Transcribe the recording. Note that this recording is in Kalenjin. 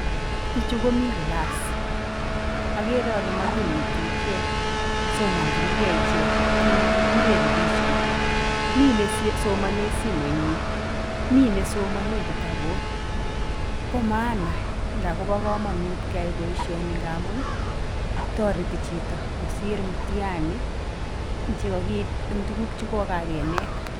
bichuu komii class ageree kolee magineti ichek somanichikey ichek kii negiguree revision mii nesomanee simenyi mii nesomanee kitabut baa maana ndaba kamangut keyaii baishanii ngamun taritii chitoo kosir mutihani che kagiib tuguk cha kenet